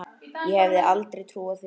Ég hefði aldrei trúað því.